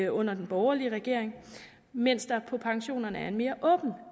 under den borgerlige regering mens der på pensionerne er en mere åben